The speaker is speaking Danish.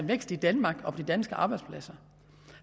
vækst i danmark og på de danske arbejdspladser